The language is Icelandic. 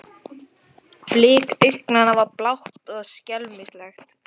Blik augnanna var blátt og skelmislegt.